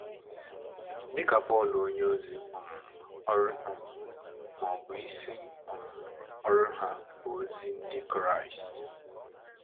Dị ka Pọl onyeozi, um ọrụ um ma ma ọ bụ isi um ọrụ ha, bụ ozi ndị Kraịst.